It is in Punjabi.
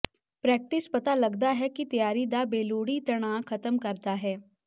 ਪ੍ਰੈਕਟਿਸ ਪਤਾ ਲੱਗਦਾ ਹੈ ਕਿ ਤਿਆਰੀ ਦਾ ਬੇਲੋੜੀ ਤਣਾਅ ਖਤਮ ਕਰਦਾ ਹੈ